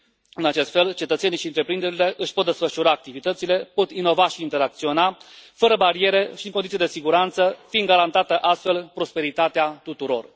În acest fel, cetățenii și întreprinderile își pot desfășura activitățile, pot inova și interacționa fără bariere și în condiții de siguranță, fiind garantată astfel prosperitatea tuturor.